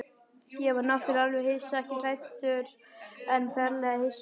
Ég varð náttúrlega alveg hissa, ekkert hræddur en ferlega hissa.